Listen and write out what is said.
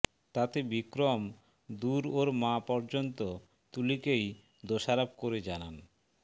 তাতে বিক্রম দূর ওর মা পযর্ন্ত তুলিকেই দোষারোপ করে জানান